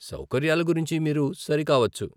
సౌకర్యాలు గురించి మీరు సరి కావచ్చు.